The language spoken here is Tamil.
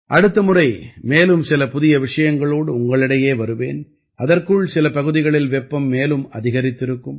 அடுத்த முறை மேலும் சில புதிய விஷயங்களோடு உங்களிடையே வருவேன் அதற்குள் சில பகுதிகளில் வெப்பம் மேலும் அதிகரித்திருக்கும்